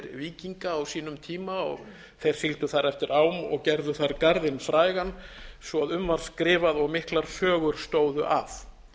víkinga á sínum tíma og þeir sigldu þar eftir ám og gerðu þar garðinn frægan svo um var skrifað og miklar sögur stóðu af